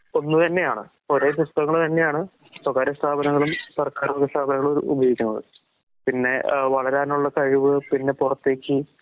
ഒന്ന്തന്നെയാണ്. ഒരേ പുസ്തകങ്ങൾ തന്നെയാണ് സ്വകാര്യ സ്ഥാപനങ്ങളും സർക്കാർവക സ്ഥാപനങ്ങളും ഉപയോഗിക്കുന്നത്. പിന്നെ അഹ് വളരാനുള്ള കഴിവ് പിന്നെ പുറത്തേക്ക്